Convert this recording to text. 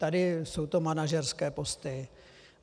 Tady jsou to manažerské posty.